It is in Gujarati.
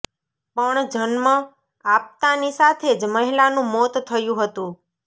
પણ જન્મ આપતાંની સાથે જ મહિલાનું મોત થયું હતું